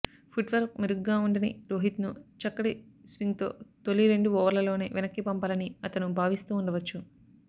footwork మెరుగ్గా ఉండని రోహిత్ను చక్కటి స్వింగ్తో తొలి రెండు ఓవర్లలోనే వెనక్కి పంపాలని అతను భావిస్తూ ఉండవచ్చు